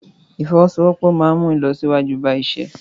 Ìfọwọ́sowọ́pọ̀ máa ń mú ìlọsíwájú bá iṣẹ́.